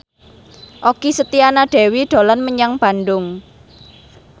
Okky Setiana Dewi dolan menyang Bandung